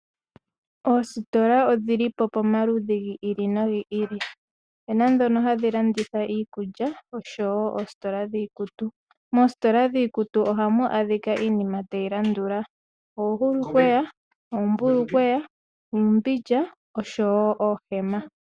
Oositola odhilipo pomaludhi gi ili nogi ili opuna ndhono hadhi landitha iikulya noositola dhiikutu. Moositola dhiikutu ohamu adhika iinima tayi landula oohulukweya, oombulukweya, uumbindja noohema.